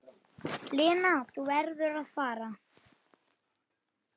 Lena, þú verður að fara!